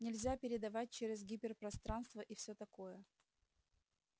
нельзя передавать через гиперпространство и все такое